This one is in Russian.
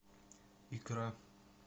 икра